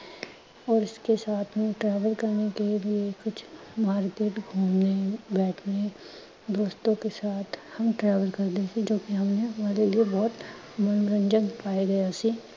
ਔਰ ਇਸਕੇ ਸਾਥ ਹੀ travel ਕੇ ਲਿਏ ਕੁਝ ਮਾਰਕਿਟ ਘੂੰਮਨੇ ਬੈਠਨੇ ਦੋਸਤੋਂ ਕੇ ਸਾਥ ਹਮ travel ਕਰਲੇਤੇ ਜੋ ਕਿ ਹਮਨੇ ਹਮਾਰੇ ਲਿਏ ਬਹੁਤ ਮਨੋਰੰਜਣ ਪਾਇਆ ਗਿਆ ਸੀ l